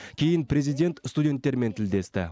кейін президент студенттермен тілдесті